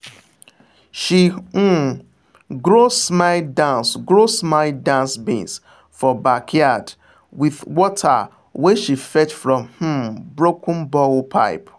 she um grow smile dance grow smile dance beans for backyard with water wey she fetch from um broken borehole pipe.